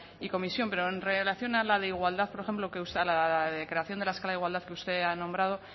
y comisión pero en relación a la de igualdad por ejemplo la de creación de la escala de igualdad que usted ha nombrado